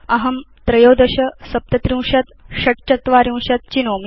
अहं 13 37 46 चेष्यामि